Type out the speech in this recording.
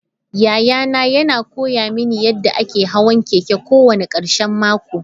Yayana yana koya mini yadda ake hawan keke kowane karshen mako.